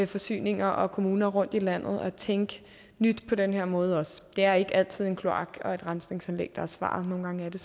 forsyninger og kommuner rundt i landet har for at tænke nyt på den her måde også det er ikke altid en kloak og et rensningsanlæg der er svaret nogle gange er det